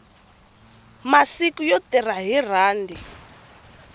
masiku yo tirha hi rhandi